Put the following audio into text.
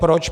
Proč?